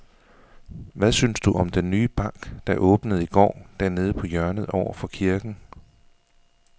Hvad synes du om den nye bank, der åbnede i går dernede på hjørnet over for kirken?